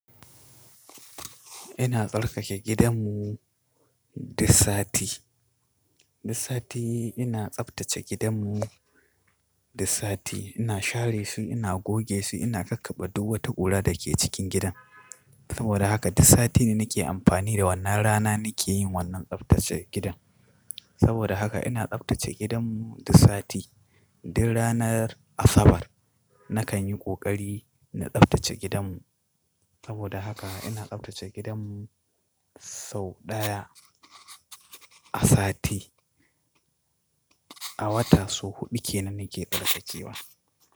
Ina tsarkake gidan mu du sati. Du sati ina tsaftace gidan mu du sati. Ina share su, ina goge su, ina kakkabe duk wata guda da ke cikin gidan. Saboda haka du sati ne nake amfani da wannan rana nake yin wannan tsaftace gidan. Saboda haka ina tsaftace gidan mu du sati. Duk ranar Asabar nakan yi ƙoƙari na tsaftace gidan mu. Saboda haka ina tsaftace gidan mu sau ɗaya a sati, a wata sau huɗu kenan nake tsarkakewa.